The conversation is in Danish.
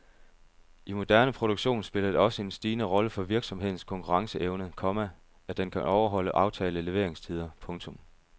I moderne produktion spiller det også en stigende rolle for virksomhedens konkurrenceevne, komma at den kan overholde aftalte leveringstider. punktum